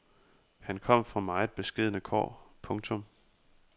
Han kom fra meget beskedne kår. punktum